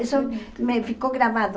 Isso me ficou gravado.